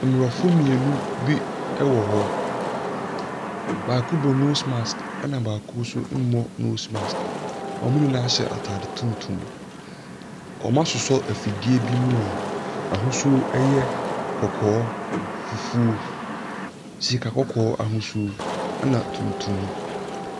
Mmorɔfo mmienu bi ɛwɔ hɔ. Baako bɔ nos maks ɛna baako so mmɔ nos maks. Ɔmo nyinaa hyɛ ataade tuntum. Ɔmo asosɔ afidie bi mu a n'ahosuo ɛyɛ kɔkɔɔ, fufuo, sika kɔkɔɔ ahosuo ɛna tuntum.